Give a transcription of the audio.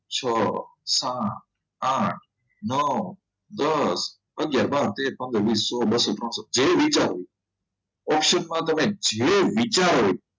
છ સાત આઠ નવ દસ આગિયાર બાર તેર પંદર વીસ પંદર સોલ પાચીસ બસો ત્રણસો જેવું વિચારો option તમે જે વિચારો